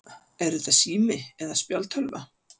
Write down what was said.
Er þetta sími eða spjaldtölva?